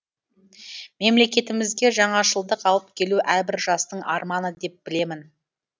мемлекетімізге жаңашылдық алып келу әрбір жастың арманы деп білемін